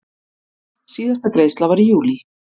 Síðasta greiðsla var í júlí.